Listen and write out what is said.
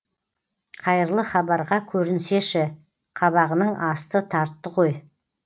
қайырлы хабарға көрінсеші қабағының асты тартты ғой